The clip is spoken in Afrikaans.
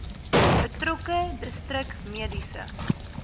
betrokke distrik mediese